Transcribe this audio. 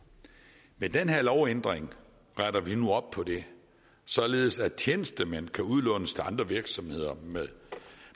med den her lovændring retter vi nu op på det således at tjenestemænd kan udlånes til andre virksomheder